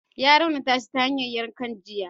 Ya raunata shi ta hanyar yankan jiya.